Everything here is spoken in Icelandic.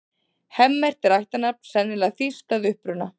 Hemmert er ættarnafn, sennilega þýskt að uppruna.